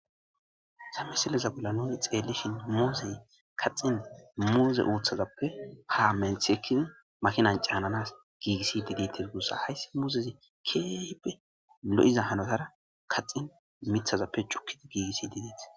Haysa misileza bolla nuni xeellishin muuzey kaxin muuze uuththazappe ha menthekizi makinan caananas giigissi diditir guussa hayssi muuzezi keeybe lo7iza hanotara kaxin mithazappe cukkida giigissi dideeth